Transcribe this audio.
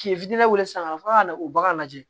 K'i fitini weele san fɔlɔ ka na o bagan lajɛ